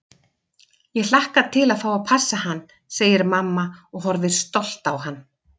Ég hlakka til að fá að passa hann, segir mamma og horfir stolt á hann.